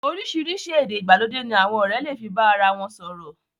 Oríṣìíríṣìí èdè ìgbàlódé ní àwọn ọ̀rẹ́ lè fi bá ara wọ̀n sọ̀rọ̀.